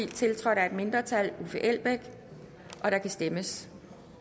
tiltrådt af et mindretal og der kan stemmes